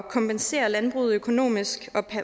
kompensere landbruget økonomisk